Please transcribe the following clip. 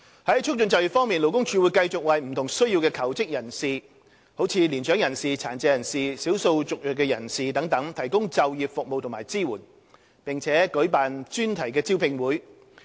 在促進就業方面，勞工處會繼續為有不同需要的求職人士，如年長人士、殘疾人士、少數族裔人士等提供就業服務及支援，並舉辦專題招聘會。